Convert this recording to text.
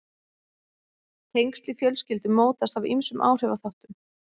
tengsl í fjölskyldum mótast af ýmsum áhrifaþáttum